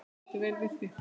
Ég mátti vel við því.